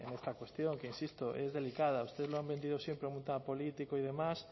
en esta cuestión que insisto es delicada ustedes lo han vendido siempre como un tema político y demás